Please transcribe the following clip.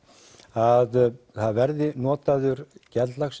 að það verði notaður